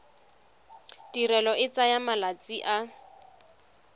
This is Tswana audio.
tirelo e tsaya malatsi a